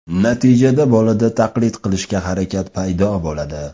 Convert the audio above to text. Natijada bolada taqlid qilishga harakat paydo bo‘ladi.